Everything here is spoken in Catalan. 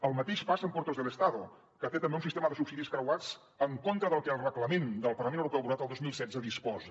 el mateix passa amb puertos del estado que té també un sistema de subsidis creuats en contra del que el reglament del parlament europeu aprovat el dos mil setze disposa